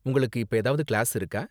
உங்களுக்கு இப்ப ஏதாவது கிளாஸ் இருக்கா?